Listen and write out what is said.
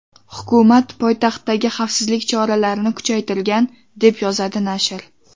Hukumat poytaxtdagi xavfsizlik choralarini kuchaytirgan, deb yozadi nashr.